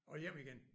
Og hjem igen